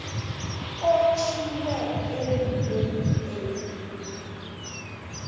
otjhwiwe endimeni a